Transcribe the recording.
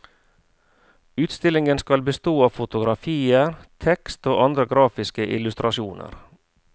Utstillingen skal bestå av fotografier, tekst og andre grafiske illustrasjoner.